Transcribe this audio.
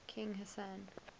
king hassan